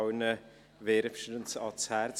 ich lege sie allen wärmstens ans Herz.